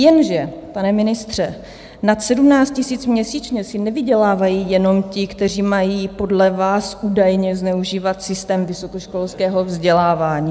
Jenže, pane ministře, nad 17 tisíc měsíčně si nevydělávají jenom ti, kteří mají podle vás údajně zneužívat systém vysokoškolského vzdělávání...